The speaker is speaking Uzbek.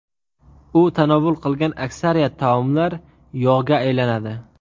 U tanovul qilgan aksariyat taomlar yog‘ga aylanadi.